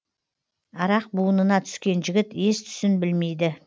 арақ буынына түскен жігіт ес түсін білмейді